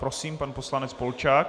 Prosím, pan poslanec Polčák.